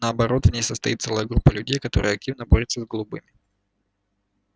наоборот в ней состоит целая группа людей которая активно борётся с голубыми